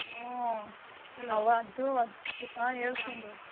ಹ್ಮ್. ಹ ಹೇಳ್ ಚಂದು.